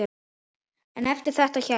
En eftir þetta hélt